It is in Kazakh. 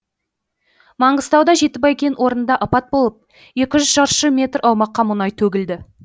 маңғыстауда жетібай кен орнында апат болып екі жүз шаршы метр аумаққа мұнай төгілді